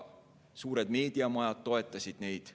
Suured meediamajad toetasid neid.